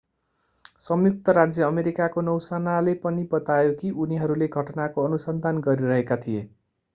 संयुक्त राज्य अमेरिकाको नौसेनाले पनि बतायो कि उनीहरूले घटनाको अनुसन्धान गरिरहेका थिए